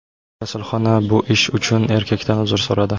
Kasalxona bu ish uchun erkakdan uzr so‘radi.